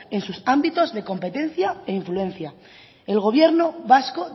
en sus ámbitos de competencia e influencia el gobierno vasco